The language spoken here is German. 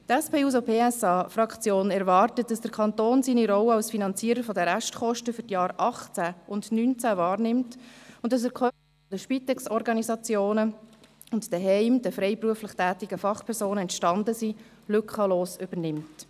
Die SP-JUSO-PSA-Fraktion erwartet, dass der Kanton seine Rolle als Finanzierer der Restkosten für die Jahre 2018 und 2019 wahrnimmt und die Kosten, die den Spitex-Organisationen und den freiberuflich tätigen Fachpersonen zu Hause entstanden sind, lückenlos übernimmt.